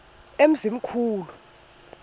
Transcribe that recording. emzimkhulu